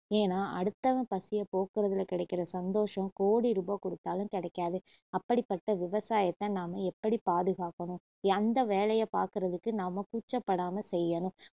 ஏன்னா அடுத்தவன் பசியை போக்குறதுல கிடைக்கிற சந்தோஷம் கோடி ரூபா கொடுத்தாலும் கிடைக்காது அப்படிப்பட்ட விவசாயத்த நாம எப்படி பாதுகாக்கணும் எந்த வேலைய பாக்குறதுக்கு நாம கூச்சப்படாம செய்யணும்